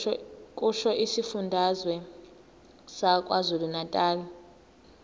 kusho isifundazwe sakwazulunatali